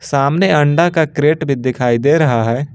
सामने अंडा का क्रेट भी दिखाई दे रहा है।